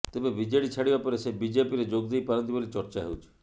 ତେବେ ବିଜେଡି ଛାଡିବା ପରେ ସେ ବିଜେପିରେ ଯୋଗଦେଇପାରନ୍ତି ବୋଲି ଚର୍ଚ୍ଚା ହେଉଛି